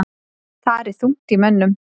Þar er þungt í mönnum.